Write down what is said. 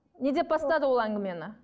не деп бастады ол әңгімені